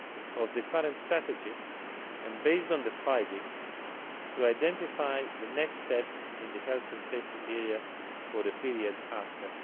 of the current strategy and, based on the findings, to identify the next steps in the health and safety area for the period after